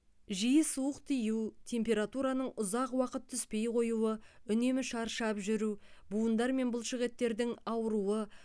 жиі суық тию температураның ұзақ уақыт түспей қоюы үнемі шаршап жүру буындар мен бұлшықеттердің ауыруы